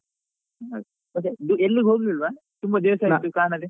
Hi ಮತ್ತೇ ನೀನು ಎಲ್ಲಿಗೂ ಹೋಗ್ಲಿಲ್ವಾ? ತುಂಬ ದಿವಸ ಆಯ್ತು ಕಾಣದೆ.